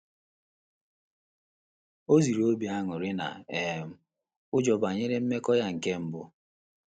O ziri obi aṅụrị na um ụjọ banyere mmekọ ya nke mbu